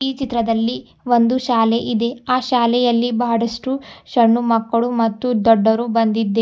ಈ ಚಿತ್ರದಲ್ಲಿ ಒಂದು ಶಾಲೆ ಇದೆ ಆ ಶಾಲೆಯಲ್ಲಿ ಬಹಳಷ್ಟು ಸಣ್ಣ ಮಕ್ಕಳು ಮತ್ತು ದೊಡ್ಡರು ಬಂದಿದೆ.